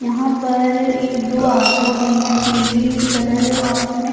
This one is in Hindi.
यहाँ पर एक दो ऑटो भी है पिली कलर और उसमें--